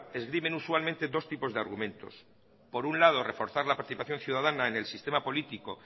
esgrimen usualmente dos tipos de argumentos por un lado reforzar la participación ciudadana en el sistema político